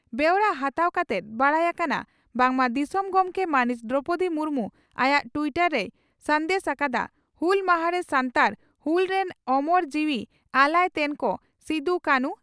ᱵᱮᱣᱨᱟ ᱦᱟᱛᱟᱣ ᱠᱟᱛᱮᱫ ᱵᱟᱰᱟᱭ ᱟᱠᱟᱱᱟ ᱵᱟᱝᱢᱟ ᱫᱤᱥᱚᱢ ᱜᱚᱢᱠᱮ ᱢᱟᱹᱱᱤᱡ ᱫᱨᱚᱣᱯᱚᱫᱤ ᱢᱩᱨᱢᱩ ᱟᱭᱟᱜ ᱴᱤᱭᱴᱚᱨ ᱨᱮᱭ ᱥᱟᱸᱫᱮᱥ ᱟᱠᱟᱫᱼᱟ ᱺᱼ "ᱦᱩᱞ ᱢᱟᱦᱟ ᱨᱮ ᱥᱟᱱᱛᱟᱲ ᱦᱩᱞ ᱨᱮᱱ ᱳᱢᱳᱨ ᱡᱤᱣᱤ ᱟᱞᱟᱭ ᱛᱮᱱ ᱠᱚ ᱥᱤᱫᱚᱼᱠᱟᱹᱱᱷᱩ